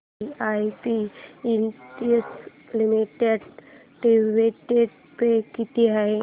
VIP industries limited dividend pay किती आहे